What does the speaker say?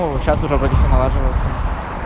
ну вот сейчас уже вроде все налаживается